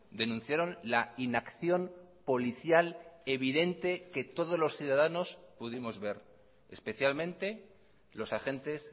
denunciaron la inacción policial evidente que todos los ciudadanos pudimos ver especialmente los agentes